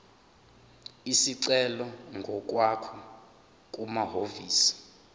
isicelo ngokwakho kumahhovisi